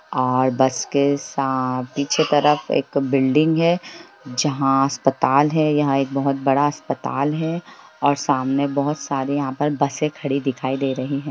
--ओर bus के पीछे तरफ एक बिल्डिंग है जहाँ अस्पताल है | यहाँ एक बोहोत बड़ा अस्पताल है ओर सामने बोहोत सारी यहाँ बस खड़ी दिखाई दे रही है।